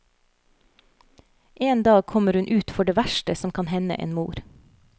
En dag kommer hun ut for det verste som kan hende en mor.